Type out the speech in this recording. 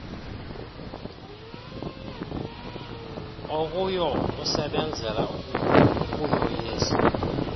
okuyo usebenzele ukuyoyisa